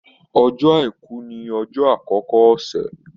Ọjọ́ Àìkú ni ọjọ́ àkọ́kọ́ ọ̀sẹ̀.